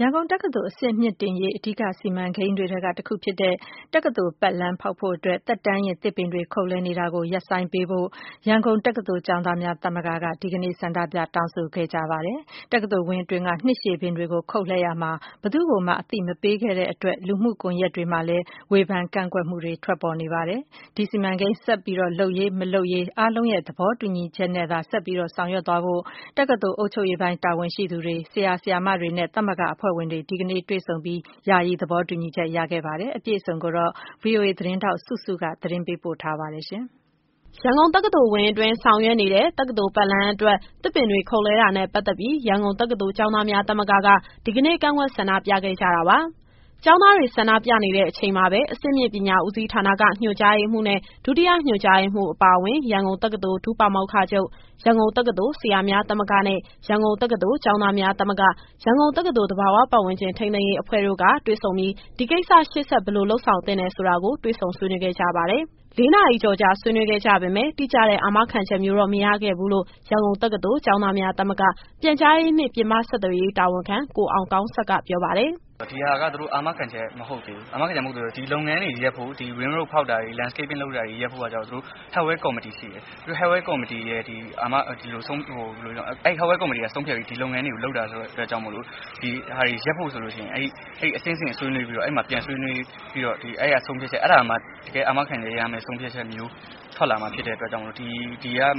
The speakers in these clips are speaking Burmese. ရန်ကုန်တက္ကသိုလ် အဆင့်မြင့်တင်ရေး Master Plan ထဲက တခုဖြစ်တဲ့ တက္ကသိုလ်ပတ်လမ်း တည်ဆောက်တာနဲ့ ပတ်သက်ပြီး နှစ်ရှည်ပင်တွေ ခုတ်လှဲခံရတာကြောင့် ရန်ကုန်တက္ကသိုလ် ကျောင်းသားများ သမဂ္ဂက ဒီအစီအစဉ်ကို ဖျက်သိမ်းပေးဖို့ ဒီကနေ့ ဆန္ဒပြ တောင်းဆိုခဲ့ကြပါတယ်။ တက္ကသိုလ်ဝင်းအတွင်းက နှစ်ရှည်ပင်တွေကို ခုတ်လှဲရာမှာ ဘယ်သူ့ကိုမှ အသိပေးခြင်းမရှိဘဲ လုပ်ခဲ့တာကြောင့် လူမှုကွန်ယက်တွေမှာလည်း ဒီရက်ပိုင်းအတွင်း ဝေဖန် ကန့်ကွက်မှုတွေ ထွက်ပေါ်ခဲ့ပါတယ်။ ဒီစီမံကိန်း ဆက်လုပ်ရေး၊ မလုပ်ကိစ္စကိုတော့ အားလုံးရဲ့ သဘောတူညီချက်နဲ့သာ ရှေ့ဆက်ဆောင်ရွက်မယ်လို့ တက္ကသိုလ် အုပ်ချုပ်ရေးပိုင်းက တာဝန်ရှိသူတွေ၊ ဆရာ၊ ဆရာမတွေနဲ့ သမဂ္ဂအဖွဲ့ဝင်တွေ ဒီကနေ့ တွေ့ဆုံပြီး ယာယီသဘော တူညီချက်ရခဲ့ပါတယ်။ အပြည့်အစုံကိုတော့ ဗွီအိုအေသတင်းထောက် စုစုက ပေးပို့ထားပါတယ်။ ရန်ကုန်တက္ကသိုလ်ဝင်းအတွင်း ဆောင်ရွက်နေတဲ့ တက္ကသိုလ် ပတ်လမ်းအတွက် သစ်ပင်တွေ ခုတ်လှဲတာနဲ့ ပတ်သက်ပြီး ရန်ကုန်တက္ကသိုလ် ကျောင်းသားများသမဂ္ဂက ဒီကနေ့ ကန့်ကွက် ဆန္ဒပြခဲ့ကြတာပါ။ ကျောင်းသားတွေ ဆန္ဒပြနေတဲ့အချိန်မှာပဲ အဆင့်မြင့်ပညာဦးစီးဌာနက ညွှန်ကြားရေးမှူးနဲ့ ဒုတိယညွှန်ကြားရေးမှူးအပါအဝင် ရန်ကုန်တက္ကသိုလ် ဒုပါမောက္ခချုပ်၊ ရန်ကုန်တက္ကသိုလ် ဆရာများသမဂ္ဂနဲ့ ရန်ကုန်တက္ကသိုလ် ကျောင်းသားများသမဂ္ဂ၊ ရန်ကုန်တက္ကသိုလ် သဘာဝ ပတ်ဝန်းကျင်ထိန်းသိမ်းရေးအဖွဲ့တို့က တွေ့ဆုံပြီး ဒီကိစ္စ ရှေ့ဆက် ဘယ်လို လုပ်ဆောင်သင့်တယ်ဆိုတာကို တွေ့ဆုံ ဆွေးနွေးခဲ့ကြပါတယ်။ ၄နာရီကျော်ကြာ ဆွေးနွေးခဲ့ကြပေမယ့် တိကျတဲ့ အာမခံချက်မျိုးတော့ မရခဲ့ဘူးလို့ ရန်ကုန်တက္ကသိုလ် ကျောင်းသားများသမဂ္ဂ ပြန်ကြားရေးနှင့် ပြင်ပဆက်ဆံရေး တာဝန်ခံ ကိုအောင်ကောင်းဆက်က ပြောပါတယ်။ “ဒီဟာက သူတို့အာမခံချက် မဟုတ်သေးဘူး။ ဒီ Ring Road ဖောက်တာတွေ၊ Landscaping လုပ်တာက ကျတော့ Hardware Committee (အခြေခံအဆောက်အဦးနှင့် ပစ္စည်းမြှင့်တင်ရေး ကော်မတီ) က ဆုံးဖြတ်ပြီး လုပ်တာဆိုတော့ ဒီဟာတွေ ရပ်ဖို့အတွက်ဆိုရင် အဆင့်ဆင့်ဆွေးနွေးပြီးတော့ တကယ်အာမခံချက်မျိုးထွက်လာမှာ ဖြစ်တဲ့အတွက်ကြောင့်မို့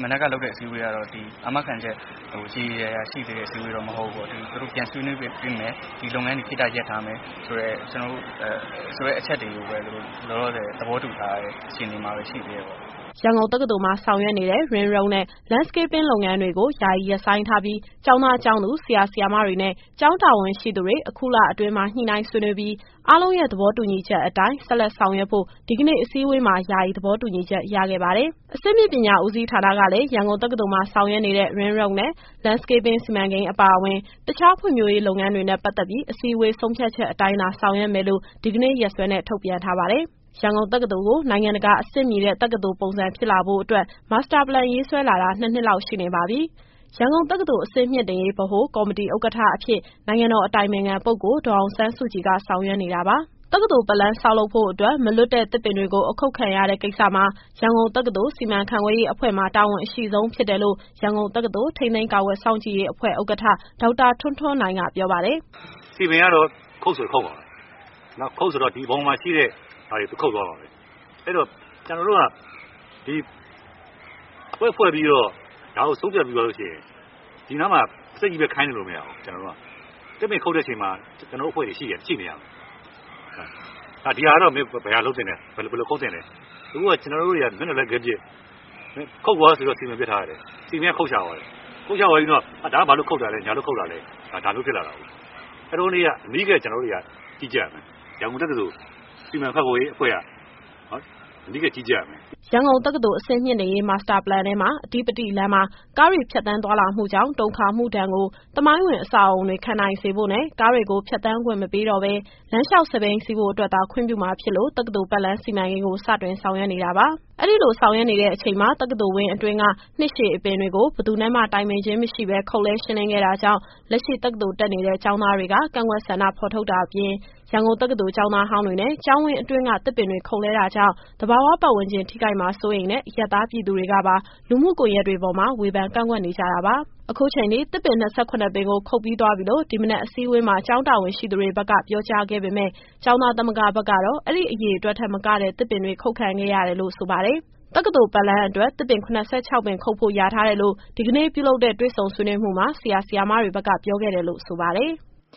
မနက်ကလုပ်တဲ့ အစည်းအဝေးကတော့ ဆုံးဖြတ်ချက်ရေရေရာရာ ရှိသေးတဲ့အစည်းအဝေးတော့ မဟုတ်သေးဘူးပေါ့။ သူတို့ပြန်ဆွေးနွေးပေးမယ်။ ဒီလုပ်ငန်းတွေ ယာယီရပ်ထားပေးမယ်ဆိုတဲ့ အချက်တွေကိုပဲ လောလောဆယ် သဘောတူထားတဲ့ အခြေအနေမှာပဲ ရှိနေသေးတယ်။” ရန်ကုန်တက္ကသိုလ်မှာ ဆောင်ရွက်နေတဲ့ Ring Road နဲ့ Landscaping လုပ်ငန်းတွေကို ယာယီရပ်ဆိုင်းထားပြီး ကျောင်းသား၊ ကျောင်းသူ၊ ဆရာ၊ ဆရာမတွေနဲ့ ကျောင်းတာဝန်ရှိသူတွေ အခုလအတွင်းမှာ ညှိနှိုင်းဆွေးနွေးပြီး အားလုံးရဲ့သဘော တူညီချက်အတိုင်း ဆက်လက် ဆောင်ရွက်ဖို့ ဒီကနေ့ အစည်းအဝေးမှာ ယာယီသဘောတူညီချက် ရခဲ့ပါတယ်။ အဆင့်မြင့်ပညာ ဦးစီးဌာနကလည်း ရန်ကုန်တက္ကသိုလ်မှာ ဆောင်ရွက်နေတဲ့ Ring Road နဲ့ Landscaping စီမံကိန်းအပါအဝင် တခြားဖွံ့ဖြိုးရေး လုပ်ငန်းတွေနဲ့ ပတ်သက်ပြီး အစည်းအဝေး ဆုံးဖြတ်ချက်အတိုင်းသာ ဆောင်ရွက်မယ်လို့ ဒီကနေ့ ရက်စွဲနဲ့ ထုတ်ပြန်ထားပါတယ်။ ရန်ကုန်တက္ကသိုလ်ကို နိုင်ငံတကာ အဆင့်မီတဲ့ တက္ကသိုလ်ပုံစံဖြစ်လာဖို့အတွက် Master Plan ရေးဆွဲလာတာ နှစ်နှစ်လောက် ရှိနေပါပြီ။ ရန်ကုန်တက္ကသိုလ် အဆင့်မြှင့်တင်ရေး ကော်မတီဥက္ကဋ္ဌအဖြစ် နိုင်ငံတော်အတိုင်ပင်ခံပုဂ္ဂိုလ် ဒေါ်အောင်ဆန်းစုကြည်က ဆောင်ရွက်နေတာပါ။ တက္ကသိုလ်ပတ်လမ်း ဆောင်လုပ်ဖို့အတွက် မလွတ်တဲ့သစ်ပင်တွေကို အခုတ်ခံရတဲ့ကိစ္စမှာ ရန်ကုန်တက္ကသိုလ် စီမံခန့်ခွဲရေးအဖွဲ့မှာ တာဝန်အရှိဆုံးဖြစ်တယ်လို့ ရန်ကုန်တက္ကသိုလ် ထိန်းသိမ်းကာကွယ် စောင့်ကြည့်ရေးအဖွဲ့ ဥက္ကဋ္ဌ ဒေါက်တာထွန်းထွန်းနိုင်က ပြောပါတယ်။ “စည်ပင်ကတော့ ခုတ်ဆိုရင် ခုတ်မှာပဲ။ အဲဒီတော့ ကျတော်တို့က အဖွဲ့ဖွဲ့ပြီးတော့ ဒီဟာတွေကို ဆုံးဖြတ်ပြီးသွားပြီဆိုလို့ရှိရင် ဒီနားမှာ ပါးစပ်နဲ့ချည်းပဲ ခိုင်းနေလို့မရဘူး။ သစ်ပင်ခုတ်တဲ့အချိန်မှာ ကျတော်တို့အဖွဲ့တွေ ရှိနေရမယ်။ ဒီဟာကတော့ ဘယ်လိုလုပ်သင့်တယ်၊ ဘယ်လိုခုတ်သင့်တယ်။ အခုဟာက မျက်နှာလွှဲခဲပစ် ခုတ်ကွာဆိုပြီးတော့ စည်ပင်ပစ်ထားလိုက်တယ်။ စည်ပင်ကခုတ်ချသွားတယ်။ ခုတ်ချသွားပြီးမှ ဒါကဘာလို့ခုတ်တာလဲ၊ ညာလို့ခုတ်တာလဲ ဖြစ်ကုန်တာ။ အဲတုန်းကတည်းက အနီးကပ် ကျနော်တို့တွေက ကြီးကြပ်ရမယ်။ ရန်ကုန်တက္ကသိုလ် စီမံခန့်ခွဲရေးအဖွဲ့က အနီးကပ်ကြီးကြပ်ရမယ်။” ရန်ကုန်တက္ကသိုလ် အဆင့်မြင့်တင်ရေး Master Plan ထဲမှာ အဓိပတိလမ်းမှာ ကားတွေ ဖြတ်သန်းသွားလာမှုကြောင့် တုန်ခါမှုဒဏ်ကို သမိုင်းဝင် အဆောက်အဦးတွေ ခံနိုင်စေဖို့နဲ့ ကားတွေကို ဖြတ်သန်းခွင့်မပေးတော့ဘဲ လမ်းလျှောက်၊ စက်ဘီးစီးဖို့အတွက်သာ ခွင့်ပြုမှာဖြစ်လို့ တက္ကသိုလ်ပတ်လမ်း စီမံကိန်းကို စတင်ဆောင်ရွက်နေတာပါ။ အဲဒီလို ဆောင်ရွက်နေတဲ့အချိန်မှာ တက္ကသိုလ်ဝင်းအတွင်းက နှစ်ရှည်အပင်တွေကို ဘယ်သူနဲ့မှ တိုင်ပင်ခြင်း မရှိဘဲ ခုတ်လှဲ ရှင်းလင်းခဲ့တာကြောင့် လက်ရှိ တက္ကသိုလ်တက်နေတဲ့ ကျောင်းသားတွေက ကန့်ကွက် ဆန္ဒဖော်ထုတ်တာအပြင် ရန်ကုန်တက္ကသိုလ် ကျောင်းသားဟောင်းတွေနဲ့ ကျေင်းဝင်းအတွင်းက သစ်ပင်တွေခုတ်ပစ်တာကြောင့် သဘာဝပတ်ဝန်းကျင် ထိခိုက်မှာကို စိုးရိမ်တဲ့ အရပ်သား ပြည်သူတွေကပါ လူမှုကွန်ယက်တွေပေါ်မှာ ဝေဖန် ကန့်ကွက်နေကြတာပါ။ အခုချိန်ထိ သစ်ပင် ၂၇ ပင်ကို ခုတ်ပြီးသွားပြီလို့ ဒီမနက်အစည်းအဝေးမှာ ကျောင်းတာဝန်ရှိသူတွေဘက်က ပြောကြားခဲ့ပေမယ့် ကျောင်းသားသမဂ္ဂဘက်ကတော့ အဲဒီအရေအတွက်ထက်မကတဲ့ သစ်ပင်တွေ ခုတ်ခံခဲ့ရတယ်လို့ ဆိုပါတယ်။ တက္ကသိုလ်ပတ်လမ်းအတွက် သစ်ပင် ၇၆ ပင် ခုတ်ဖို့ လျာထားတယ်လို့ ဒီကနေ့ ပြုလုပ်တဲ့ တွေ့ဆုံ ဆွေးနွေးမှုမှာ ဆရာ၊ ဆရာမတွေဘက်က ပြောခဲ့တယ်လို့ ဆိုပါတယ်။